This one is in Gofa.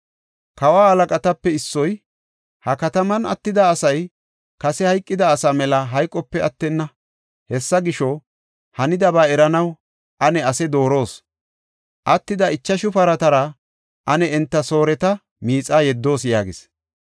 Kawa halaqatape issoy, “Ha kataman attida asay kase hayqida asaa mela hayqope attenna. Hessa gisho, hanidaba eranaw ane asaa dooroos. Attida ichashu paratara ane enta Sooreta miixaa yeddoos” yaagis.